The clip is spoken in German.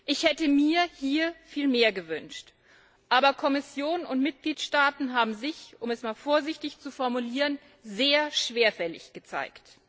Ich hätte mir hier viel mehr gewünscht, aber Kommission und Mitgliedstaaten haben sich um es einmal vorsichtig zu formulieren sehr schwerfällig gezeigt.